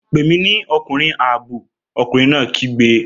Pè mí ní ọkùnrin ààbò! ọkùnrin náà kígbe